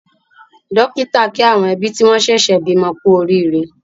Dọ́kítà kí àwọn ẹbí tí wọ́n ṣẹ̀ṣẹ̀ bímọ kú oríire.